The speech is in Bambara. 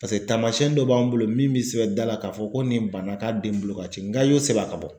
Paseke taamasiyɛn dɔ b'an bolo min bɛ sɛbɛn da la k'a fɔ ko nin bana k'a den bolo ka ci nka i y'o sɛbɛn a ka bɔ.